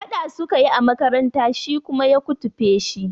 Faɗa sukayi a makaranta shi kuma ya kutufe shi